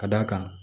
Ka d'a kan